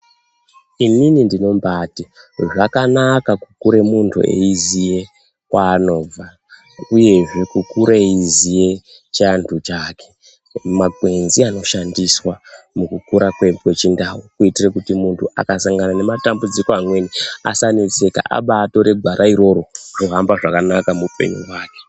Inini ndinoti zvakanaka kukura muntu eiziva kwanobva uye kukura eiziva chiandu chake makwenzi anoshandiswa mukukura kwedu kwechindau kuitira Kuti muntu akasangana nematambudziko amweni asanetseka abatora gwara iroro zvohamba zvakanaka muhupenyu hwake.